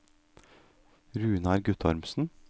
Runar Guttormsen